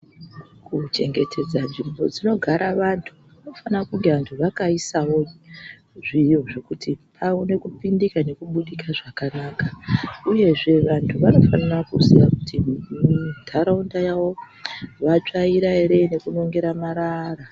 Kuchengetedza nzvimbo dzinogara vantu kunofanira kunge vantu vakaisavo zviro zvekuti vaone kupindikawo nekubuda zvakanaka. Uyezve vantu vanofanira kuziya kuti muntaraunda yavo vatsvaira ere nekunongera marara.